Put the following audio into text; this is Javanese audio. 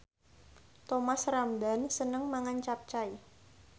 Thomas Ramdhan seneng mangan capcay